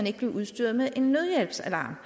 ikke blive udstyret med en nødhjælpsalarm